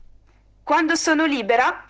сынуля